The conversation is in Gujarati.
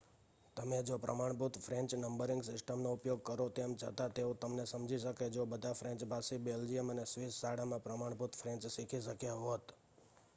તમે જો પ્રમાણભૂત ફ્રેન્ચ નંબરિંગ સિસ્ટમનો ઉપયોગ કરો તેમ છતાં તેઓ તમને સમજી શકે જો બધા ફ્રેન્ચભાષી બેલ્જિયન અને સ્વિસ શાળામાં પ્રમાણભૂત ફ્રેન્ચ શીખી શક્યા હોત